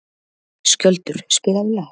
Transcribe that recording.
Skjöldur, spilaðu lag.